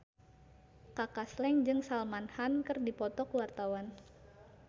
Kaka Slank jeung Salman Khan keur dipoto ku wartawan